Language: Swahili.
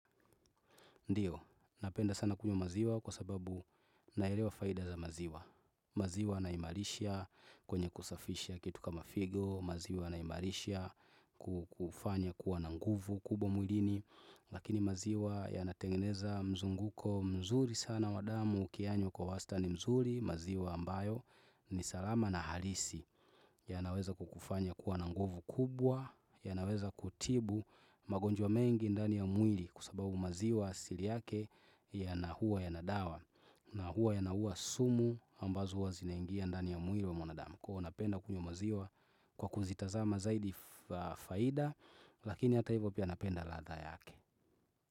Ndio, napenda sana kunywa maziwa kwa sababu naelewa faida za maziwa. Maziwa inaimarisha kwenye kusafisha kitu kama figo, maziwa inaimarisha kufanya kuwa na nguvu kubwa mwilini. Lakini maziwa yanatengeneza mzunguko mzuri sana wa damu ukiyanywa kwa wastani mzuri maziwa ambayo ni salama na halisi. Yanaweza kukufanya kuwa na nguvu kubwa, yanaweza kutibu magonjwa mengi ndani ya mwili kwa sababu maziwa asili yake yana huwa yana dawa. Na huwa yanauwa sumu ambazo huwa zinaingia ndani ya mwili wa mwanadamu. Kwa hiyo huwa napenda kunywa maziwa kwa kuzitazama zaidi faida, lakini hata hivyo pia napenda ladha yake.